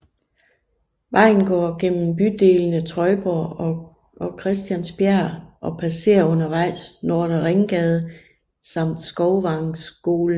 Vejen går igennem bydelene Trøjborg og Christiansbjerg og passerer undervejs Nordre Ringgade samt Skovvangskolen